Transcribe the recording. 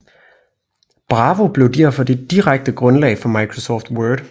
Bravo blev derfor det direkte grundlag for Microsoft Word